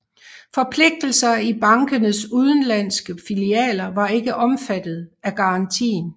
Forpligtelser i bankenes udenlandske filialer var ikke omfattet af garantien